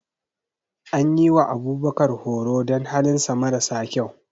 An yi wa Abubakar horo don halinsa mara sa kyau.